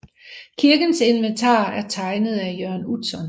Kirkens inventar er tegnet af Jørn Utzon